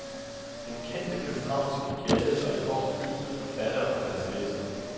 Den kendte københavnske gade var i går fyldt med forfattere og deres læsere.